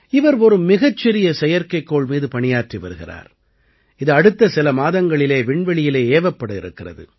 இவர் ஒரு மிகச் சிறிய செயற்கைக்கோள் மீது பணியாற்றி வருகிறார் இது அடுத்த சில மாதங்களிலே விண்வெளியிலே ஏவப்பட இருக்கிறது